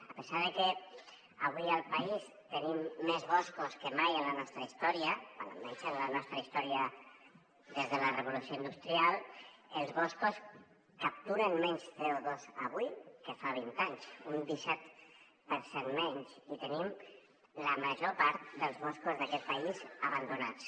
a pesar de que avui al país tenim més boscos que mai en la nostra història bé almenys en la nostra història des de la revolució industrial els boscos capturen menys coque fa vint anys un disset per cent menys i tenim la major part dels boscos d’aquest país abandonats